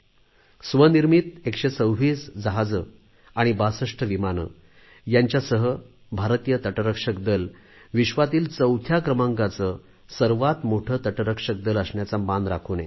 स्वदेशी बनावटीची 126 जहाजे आणि 62 विमाने यांच्यासह भारतीय तटरक्षक दल विश्वातील चौथ्या क्रमांकाचे सर्वात मोठे तटरक्षक दल असण्याचा मान राखून आहे